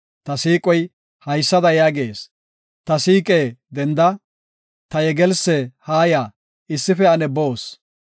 Ta siiqoy, haysada yaagees; “Ta siiqe, denda! Ta yegelsse, haaya, issife ane boos.